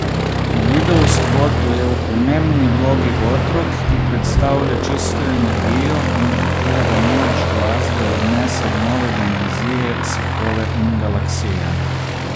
V videospotu je v pomembni vlogi otrok, ki predstavlja čisto energijo in katerega moč glasbe odnese v nove dimenzije, svetove in galaksije.